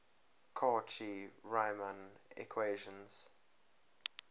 cauchy riemann equations